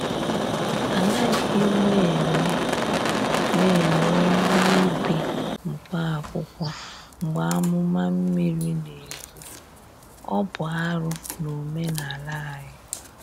A naghị m ewe m ewe ihe ubi mkpa akwụkwọ mgbe amụma mmiri na-egbu-ọ bụ arụ n’omenala anyị.